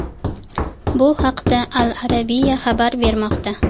Bu haqda Al-Arabiya xabar bermoqda .